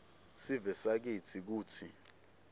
sive sakitsi kutsi